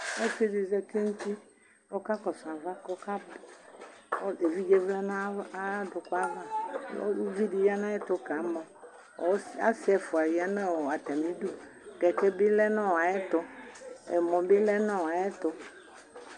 ɔsidi zati nʋti ɔka kɔsʋ ava kɔkabi ɛvidze vlɛ nayadʋkʋ ava ʋvidi ya nayɛtʋ kamɔ asiɛƒʋa ya natamidʋ ʋtʋvegele ya nayɛtʋ NA bi lɛ nayɛtʋ